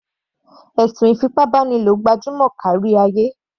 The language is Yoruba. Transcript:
Ẹ̀sùn ìfipábánilò gbajúmọ̀ kárí ayé.